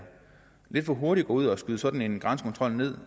lidt for hurtigt ud at skyde sådan en grænsekontrol ned